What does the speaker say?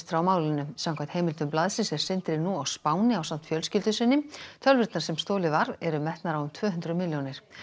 frá málinu samkvæmt heimildum blaðsins er Sindri nú á Spáni ásamt fjölskyldu sinni tölvurnar sem stolið var eru metnar á um tvö hundruð milljónir